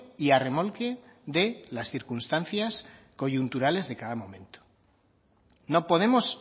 y a remolque de las circunstancias coyunturales de cada momento no podemos